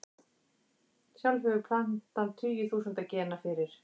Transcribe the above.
Sjálf hefur plantan tugi þúsunda gena fyrir.